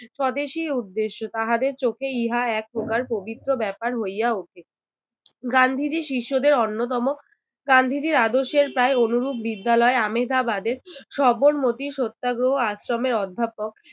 স্বদেশী উদ্দেশ্য, তাহাদের চোখে ইহা এক প্রকার পবিত্র ব্যাপার হইয়া ওঠে। গান্ধীজীর শিষ্যদের অন্যতম। গান্ধীজীর আদর্শের প্রায় অনুরূপ বিদ্যালয়ে আহমেদাবাদে সবরমতি সত্যাগ্রহ আশ্রমের অধ্যাপক